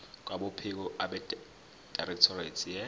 kwabophiko abedirectorate ye